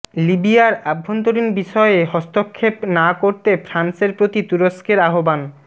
লিবিয়ার অভ্যন্তরীণ বিষয়ে হস্তক্ষেপ না করতে ফ্রান্সের প্রতি তুরস্কের আহ্বান